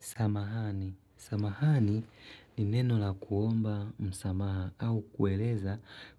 Samahani, samahani ni neno la kuomba msamaha au kueleza